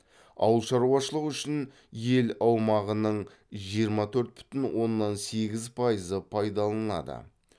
ауылшаруашылығы үшін ел аумағының жиырма төрт бүтін оннан сегіз пайызы пайдаланылады